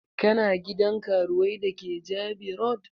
Kana gidan karuwai da ke Jabi road?